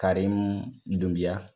Karimu Dunbiya.